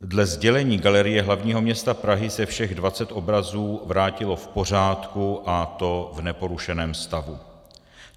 Dle sdělení Galerie hlavního města Prahy se všech 20 obrazů vrátilo v pořádku, a to v neporušeném stavu.